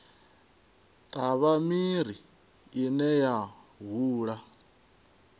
ṱavha miri ine ya hula